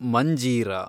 Manjira